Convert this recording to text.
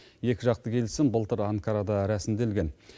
екіжақты келісім былтыр анкарада рәсімделген